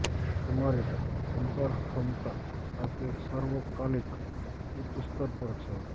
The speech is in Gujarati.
તમારી સંચાર ક્ષમતા આજે સર્વકાલિક ઉચ્ચ સ્તર પર છે